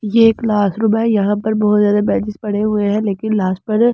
यह एक क्लासरूम है यहां पर बहुत ज्यादा बेंचेस पड़े हुए हैं लेकिन लास्ट पर।